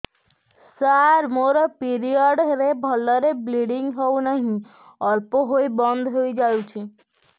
ସାର ମୋର ପିରିଅଡ଼ ରେ ଭଲରେ ବ୍ଲିଡ଼ିଙ୍ଗ ହଉନାହିଁ ଅଳ୍ପ ହୋଇ ବନ୍ଦ ହୋଇଯାଉଛି